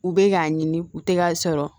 U bɛ k'a ɲini u tɛ k'a sɔrɔ